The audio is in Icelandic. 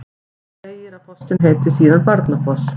Þar segir að fossinn heiti síðan Barnafoss.